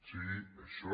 sí això